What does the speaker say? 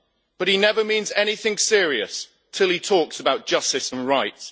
But he never means anything serious till he talks about justice and right.